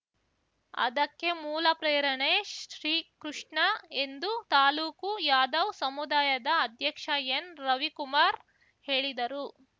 ಅದಕ್ಕೆ ಮೂಲ ಪ್ರೇರಣೆ ಶ್ರೀಕೃಷ್ಣ ಎಂದು ತಾಲೂಕು ಯಾದವ್ ಸಮುದಾಯದ ಅಧ್ಯಕ್ಷ ಎನ್‌ ರವಿಕುಮಾರ್‌ ಹೇಳಿದರು